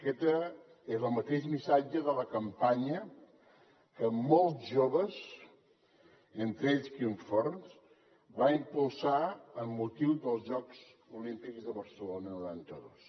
aquest era el mateix missatge de la campanya que molts joves entre ells quim forn van impulsar amb motiu dels jocs olímpics de barcelona noranta dos